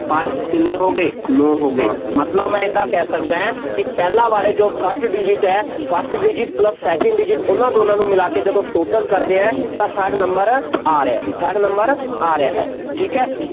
ਪੰਜ ਕਿੰਨੇ ਹੋ ਗਏ, ਨੌ ਹੋ ਗਏ, ਮਤਲਬ ਮੈਂ ਏਦਾਂ ਕਹਿ ਸਕਦਾ, ਕਿ ਪਹਿਲਾ ਵਾਲੇ ਜੋ first digit ਹੈ, first digit plus second digit ਉਹਨਾ ਦੋਨਾਂ ਨੂੰ ਮਿਲਾ ਕੇ ਜਦੋਂ total ਕਰਦੇ ਹਾਂ, ਤਾਂ third number ਆ ਰਿਹਾ ਜੀ, third number ਆ ਰਿਹਾ ਹੈ, ਠੀਕ ਹੈ,